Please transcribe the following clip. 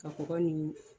Ka kɔgɔ ni